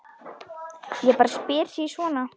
Ég bara spyr sí svona.